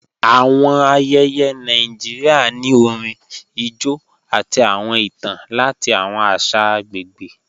Awọn ayéyé Nàìjíríà ni orín, ijó, àti awọn ìtàn lati awọn àṣà agbegbe